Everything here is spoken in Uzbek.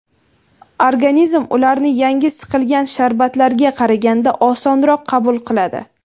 Organizm ularni yangi siqilgan sharbatlarga qaraganda osonroq qabul qiladi.